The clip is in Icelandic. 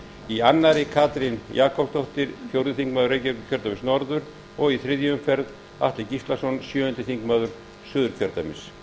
í annarri umferð katrín jakobsdóttir fjórði þingmaður reykjavíkurkjördæmis norður og í þriðju umferð atli gíslason sjöundi þingmaður suðurkjördæmis